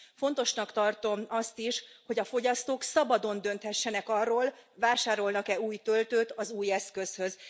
Fontosnak tartom azt is, hogy a fogyasztók szabadon dönthessenek arról, vásárolnak e új töltőt az új eszközhöz.